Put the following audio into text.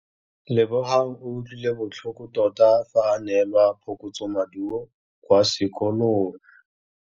Lebogang o utlwile botlhoko tota fa a neelwa phokotsômaduô kwa sekolong.